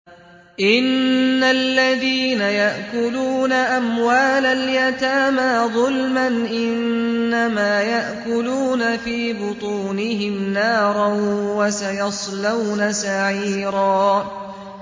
إِنَّ الَّذِينَ يَأْكُلُونَ أَمْوَالَ الْيَتَامَىٰ ظُلْمًا إِنَّمَا يَأْكُلُونَ فِي بُطُونِهِمْ نَارًا ۖ وَسَيَصْلَوْنَ سَعِيرًا